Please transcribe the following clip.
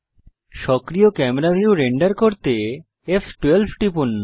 সক্রিয় camera view render করতে ফ12 টিপুন